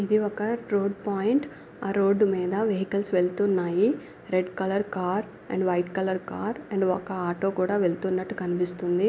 ఇది ఒక road point ఆ రోడ్డు మీద వెహికల్స్ వెల్తున్నాయి red colour car and white colour car and ఒక ఆటో కూడా వెళ్తున్నట్టు కనిపిస్తుంది.